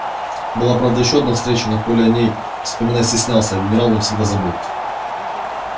была правда ещё одна встреча но коля о ней вспоминать стеснялся а генерал навсегда забыл